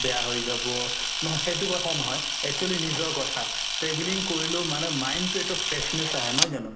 বেয়া হয় যাব সেইটো কথা নহয় actually নিজৰ কথা travelling কৰিলেও মানে mind তো এটা freshness আহে নহয় জানো